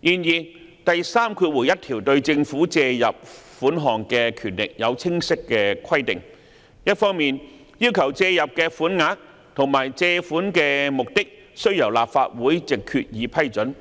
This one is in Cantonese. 然而，第31條對政府借入款項的權力有清晰規定，一方面要求借入的"款額"及借款的"目的"須由立法會藉決議批准，